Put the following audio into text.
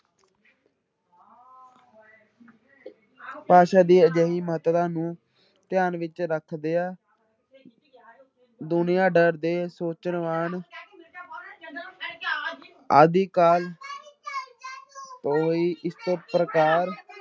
ਭਾਸ਼ਾ ਦੀ ਅਜਿਹੀ ਮਹੱਤਤਾ ਨੂੰ ਧਿਆਨ ਵਿੱਚ ਰੱਖਦਿਆਂ ਦੁਨੀਆਂ ਡਰ ਦੇ ਸੋਚਨਵਾਨ ਆਦਿ ਕਾਲ ਤੋਂ ਹੀ ਇਸ ਪ੍ਰਕਾਰ